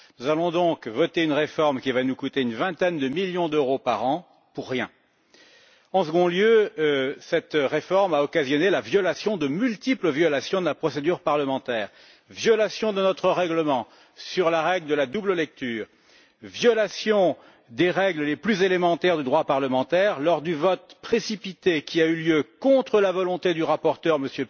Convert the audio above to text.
Nous allons donc voter une réforme qui va nous coûter une vingtaine de millions d'euros par an pour rien. En deuxième lieu, cette réforme a occasionné de multiples violations de la procédure parlementaire violation de notre règlement sur la règle de la double lecture, violation des règles les plus élémentaires du droit parlementaire lors du vote précipité qui a eu lieu contre la volonté du rapporteur, M.